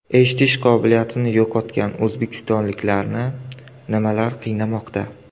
Eshitish qobiliyatini yo‘qotgan o‘zbekistonliklarni nimalar qiynamoqda?.